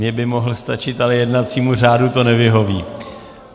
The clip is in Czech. Mně by mohl stačit, ale jednacímu řádu to nevyhoví.